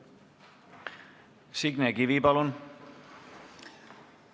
Signe Kivi, palun!